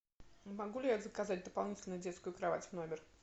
могу ли я заказать дополнительно детскую кровать в номер